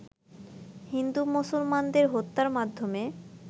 হিন্দু মুসলমানদের হত্যার মাধ্যমে